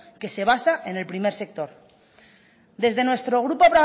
que se basa en el primer sector desde nuestro grupo